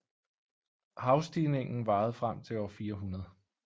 Havstigningen varede frem til år 400